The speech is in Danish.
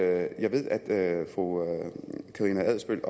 at jeg ved at fru karina adsbøl